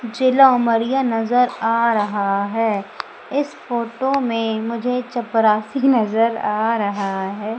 जिला उमरिया नजर आ रहा है इस फोटो में मुझे चपरासी नजर आ रहा है।